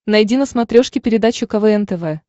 найди на смотрешке передачу квн тв